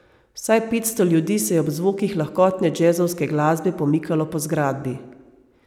Vsaj petsto ljudi se je ob zvokih lahkotne džezovske glasbe pomikalo po zgradbi.